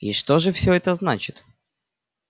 и что же всё это значит